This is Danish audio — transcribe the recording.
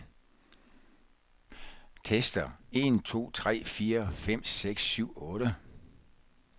Tester en to tre fire fem seks syv otte.